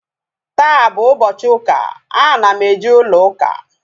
Taa bụ ụbọchị ụka, ana m eje ụlọ ụka